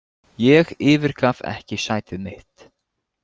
Ég yfirgaf ekki sætið mitt.